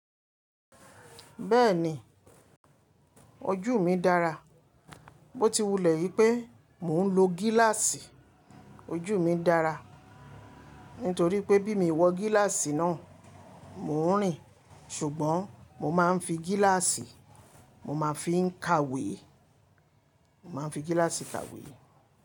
Bẹ́ẹ̀ni ojúu mi dára. Ó ti wulẹ̀ yí pé mò ń lo gíláàsì. Ojú mi dára nítorí pé bí mi wọ gíláàsì náà, mò ń rìn. Ṣùgbọ́n mo máa ń fi gíláàsì, mo máa fi ń kàwé. Mo máa ń fi gíláàsì kàwé.